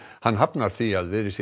hann hafnar því að verið sé